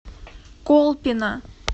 колпино